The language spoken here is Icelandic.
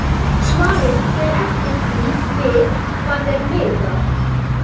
Svarið fer eftir því við hvað er miðað.